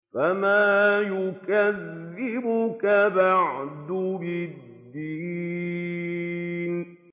فَمَا يُكَذِّبُكَ بَعْدُ بِالدِّينِ